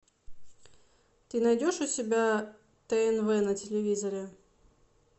ты найдешь у себя тнв на телевизоре